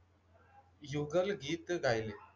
युगल गीत गायले.